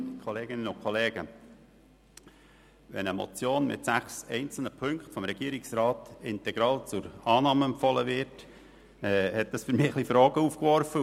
Wenn eine Motion mit sechs Ziffern vom Regierungsrat integral zur Annahme empfohlen wird, dann wirft das bei mir Fragen auf.